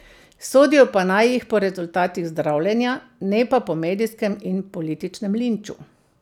Sodijo pa naj jih po rezultatih zdravljenja, ne pa po medijskem in političnem linču.